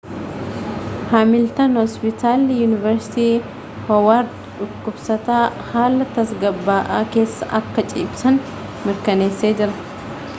hamiiltan hoospitalli yuuniversitii hoowaard dhukubsataa haala tasgabba'aa keessa akka ciibsan mirkaneessee jira